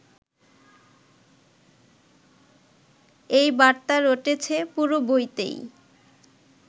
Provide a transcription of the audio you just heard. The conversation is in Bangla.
এই বার্তা রটেছে পুরো বইতেই